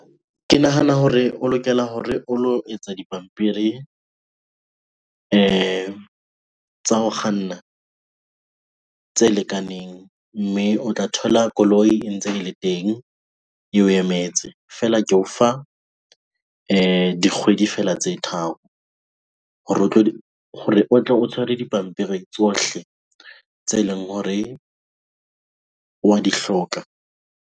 Ke nahana hore o lokela hore o lo etsa dipampiri tsa ho kganna, tse lekaneng. Mme o tla thola koloi e ntse e le teng, eo emetse. Feela ke o fa dikgwedi fela tse tharo hore o tle o tshwere dipampiri tsohle tse leng hore wa di hloka.